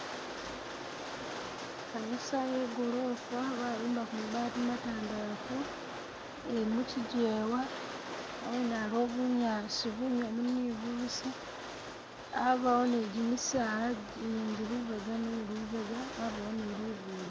Kanisa ye gorofa babimbako mabaati matandafu ili mukyijewa ,awene aliwo bunyaasi bunyomu ni bubisi abawo ni jimisaala jindi lubega ni lubega abaawo ni lugudo.